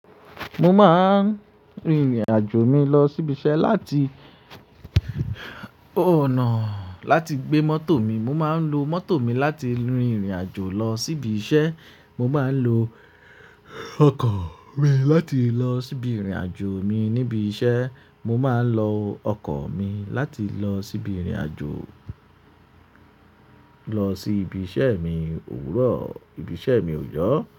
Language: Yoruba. Mo máa ń rin ìrìnàjò mi lọ síbi iṣẹ́ láti, oh no, láti gbé mọ́tò mi. Mo máa ń lo mọ́tò mi láti rin ìrìnàjò lọ síbi iṣẹ́. Mo máa ń lo ọkọ̀ mi láti lọ síbi ìrìnàjò mi níbi iṣẹ́. Mo máa ń lo ọkọ̀ mi láti lọ síbi ìrìnàjò, lọ sí ibi iṣẹ́ mi òwúrọ̀, ibi iṣẹ́ mi òjọ́